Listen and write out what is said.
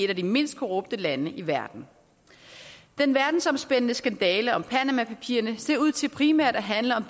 af de mindst korrupte lande i verden den verdensomspændende skandale om panama papirerne ser ud til primært at handle om